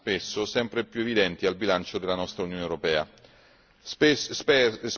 Ovviamente recando danni spesso sempre più evidenti al bilancio della nostra Unione europea.